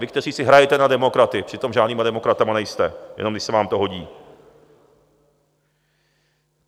Vy, kteří si hrajete na demokraty, přitom žádnýma demokratama nejste, jenom když se vám to hodí.